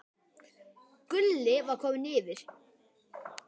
Gulli var kominn yfir.